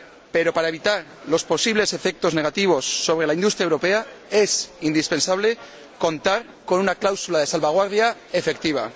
Pero, para evitar los posibles efectos negativos sobre la industria europea, es indispensable contar con una cláusula de salvaguardia efectiva.